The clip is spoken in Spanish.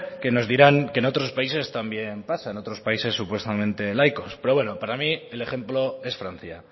que nos dirán que en otros países también pasa en otros países supuestamente laicos pero bueno para mí el ejemplo es francia